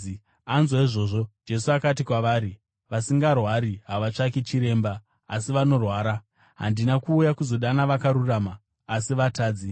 Anzwa izvozvo, Jesu akati kwavari, “Vasingarwari havatsvaki chiremba, asi vanorwara. Handina kuuya kuzodana vakarurama, asi vatadzi.”